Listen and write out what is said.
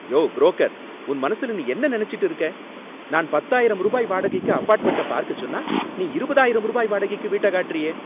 யோவ், broker! உன் மனசுல நீ என்ன நினைச்சிட்டு இருக்க? நான் பத்தாயிரம் ரூபாய் வாடகைக்கு அபார்ட்மெண்ட்ட பார்க்க சொன்னா நீ இருபதாயிரம் ரூபாய் வாடகைக்கு வீட்ட காட்டறியே!